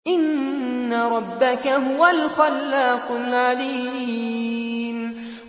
إِنَّ رَبَّكَ هُوَ الْخَلَّاقُ الْعَلِيمُ